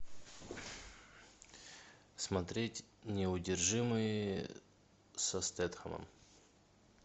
смотреть неудержимые со стэтхэмом